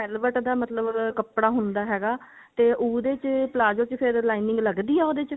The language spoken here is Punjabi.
velvet ਦਾ ਮਤਲਬ ਕੱਪੜਾ ਹੁੰਦਾ ਹੈਗਾ ਤੇ ਉਹਦੇ ਚ palazzo ਚ ਫੇਰ lining ਲਗਦੀ ਹੈ ਉਹਦੇ ਚ